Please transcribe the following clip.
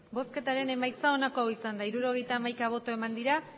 emandako botoak hirurogeita hamaika bai